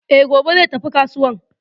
E, gobe zai tafi kasuwan